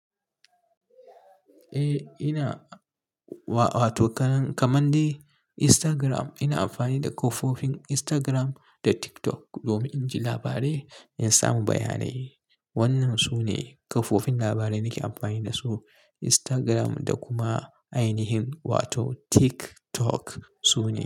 Eh ina, wato kaman dai Instagram ina amfani da kafofin Instagram da TikTok domin inji labarai in samu bayanai. Wannan sune kafofin labarai nake amfani dasu, Instagram da kuma ainihin wato TikTok su ne.